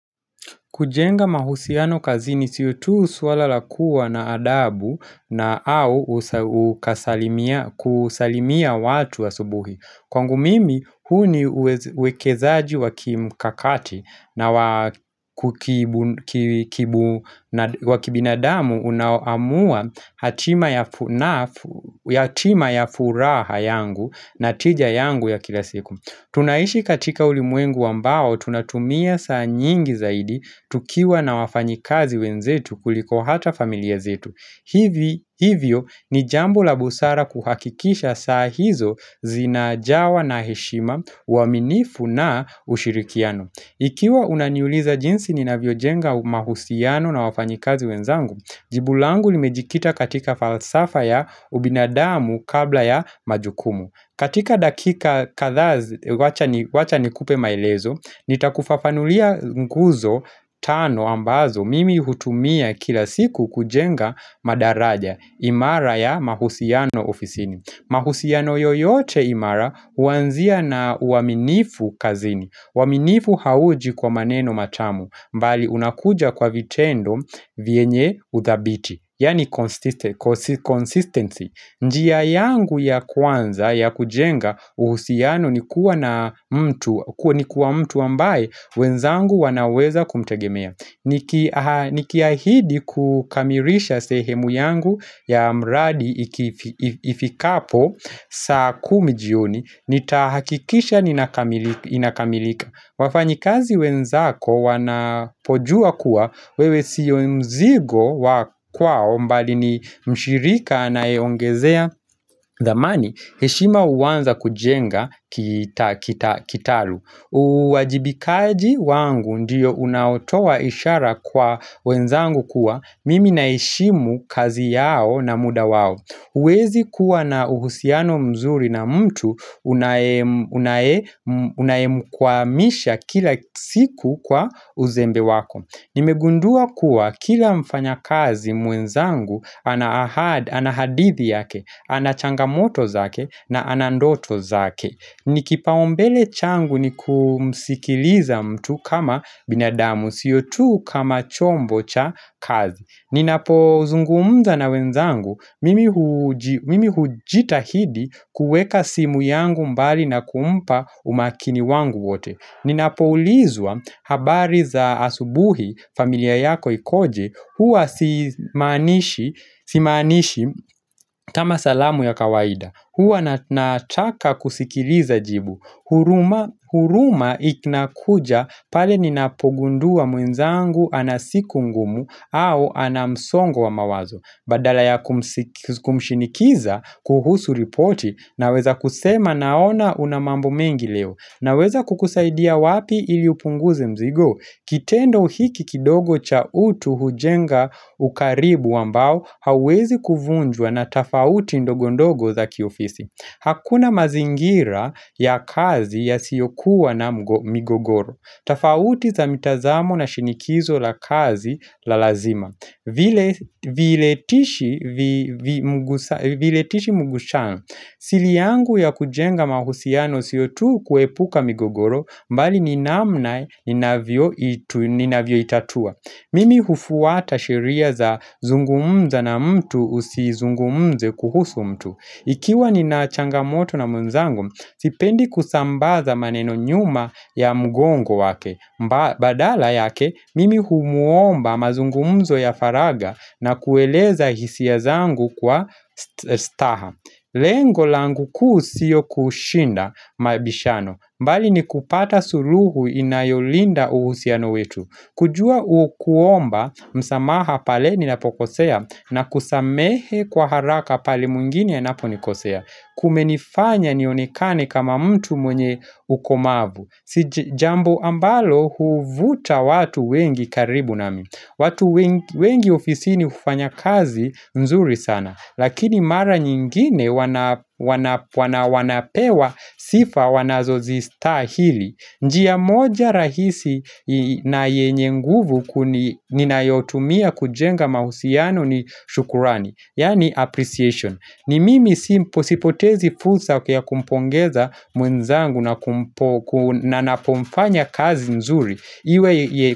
Kujenga mahusiano kazini sio tu swala la kuwa na adabu na au kusalimia watu asubuhi. Kwangu mimi, huu ni uwekezaji wa kimkakati na wa wa kibinadamu unaoamua hatima ya furaha yangu na tija yangu ya kila siku. Tunaishi katika ulimwengu ambao tunatumia saa nyingi zaidi tukiwa na wafanyikazi wenzetu kuliko hata familia zetu. Hivi Hivyo ni jambo la busara kuhakikisha saa hizo zinajawa na heshima, uaminifu na ushirikiano. Ikiwa unaniuliza jinsi ninavyojenga mahusiano na wafanyikazi wenzangu, jibu langu limejikita katika falsafa ya ubinadamu kabla ya majukumu. Katika dakika kadhaa wacha nikupe maelezo, nitakufafanulia nguzo tano ambazo mimi hutumia kila siku kujenga madaraja imara ya mahusiano ofisini. Mahusiano yoyote imara huanzia na uaminifu kazini, uaminifu hauji kwa maneno matamu bali unakuja kwa vitendo vyenye uthabiti. Yani consistency. Njia yangu ya kwanza ya kujenga uhusiano ni kuwa na mtu ni kuwa mtu ambaye wenzangu wanaweza kumtegemea. Niki Nikiahidi kukamilisha sehemu yangu ya mradi ifikapo saa kumi jioni. Nitahakikisha inakamilika. Wafanyikazi wenzako wanapojua kuwa wewe sio mzigo wa kwao bali ni mshirika anaeongezea dhamani heshima huanza kujenga kitalu uwajibikaji wangu ndiyo unaotowa ishara kwa wenzangu kuwa mimi naheshimu kazi yao na muda wao. Huwezi kuwa na uhusiano mzuri na mtu unayemkwamisha kila siku kwa uzembe wako. Nimegundua kuwa kila mfanyakazi mwenzangu ana hadithi yake, ana changamoto zake na ana ndoto zake. Nikipaumbele changu ni kumsikiliza mtu kama binadamu, sio tu kama chombo cha kazi. Ninapozungumza na wenzangu mimi hujitahidi kuweka simu yangu mbali na kumpa umakini wangu wote. Ninapoulizwa habari za asubuhi, familia yako ikoje, huwa simaanishi simaanishi kama salamu ya kawaida. Huwa nataka kusikiliza jibu. Huruma huruma inakuja pale ninapogundua mwenzangu ana siku ngumu au ana msongo wa mawazo. Badala ya kumshinikiza kuhusu ripoti naweza kusema naona una mambo mengi leo. Naweza kukusaidia wapi ili upunguze mzigo? Kitendo hiki kidogo cha utu hujenga ukaribu ambao hauwezi kuvunjwa na tofauti ndogondogo za kiofisi. Hakuna mazingira ya kazi yasiyokuwa na migogoro. Tofauti za mitazamo na shinikizo la kazi la lazima. Vile Viletishi mgusha. Siri yangu ya kujenga mahusiano sio tu kuepuka migogoro bali ni namna ninavyoitatua. Mimi hufuata sheria za zungumza na mtu usizungumze kuhusu mtu. Ikiwa nina changamoto na mwenzangu, sipendi kusambaza maneno nyuma ya mgongo wake. Badala yake mimi humuomba mazungumzo ya faragha na kueleza hisia zangu kwa staha Lengo langu kuu sio kushinda mabishano bali ni kupata suluhu inayolinda uhusiano wetu. Kujua kuomba msamaha pale ninapokosea na kusamehe kwa haraka pale mwingine anaponikosea. Kumenifanya nionekane kama mtu mwenye ukomavu. Si jambo ambalo huvuta watu wengi karibu nami. Watu wengi ofisini hufanya kazi mzuri sana lakini mara nyingine wanapewa sifa wanazozistahili njia moja rahisi na yenye nguvu ninayotumia kujenga mahusiano ni shukrani yaani appreciation. Ni mimi sipotezi fursa ya kumpongeza mwenzangu na anapofanya kazi nzuri iwe.